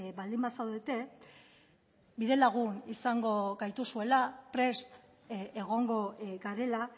baldin bazaudete bidelagun izango gaituzuela prest egongo garela